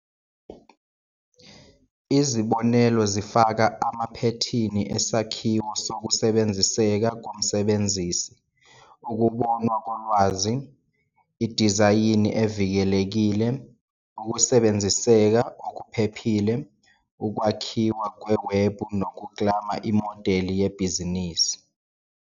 Izibonelo zifaka amaphethini esakhiwo sokusebenziseka komsebenzisi, ukubonwa kolwazi, idizayini evikelekile, "ukusebenziseka okuphephile", ukwakhiwa kwewebhu nokuklama imodeli yebhizinisi.